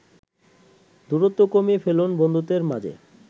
দূরত্ব কমিয়ে ফেলুন বন্ধুদের মাঝে।